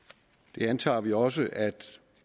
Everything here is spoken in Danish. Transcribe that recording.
det antager vi også at